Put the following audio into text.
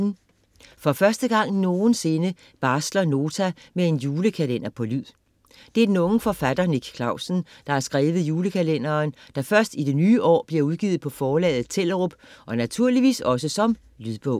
For første gang nogensinde barsler Nota med en julekalender på lyd. Det er den unge forfatter Nick Clausen, der har skrevet julekalenderen, der først i det nye år bliver udgivet på forlaget Tellerup og naturligvis også som lydbog.